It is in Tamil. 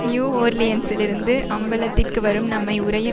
நியூ ஓர்லியன்சிலிருந்து அம்பலத்திற்கு வரும் நம்மை உறைய